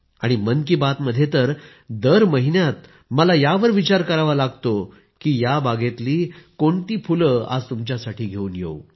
आणि मन की बात मध्ये तर दर महिन्यात मला यावर विचार करावा लागतो की या बागेतली कोणती फुले आज तुमच्यासाठी घेऊन येऊ